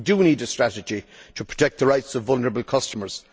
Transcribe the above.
We need a strategy to protect the rights of vulnerable customers.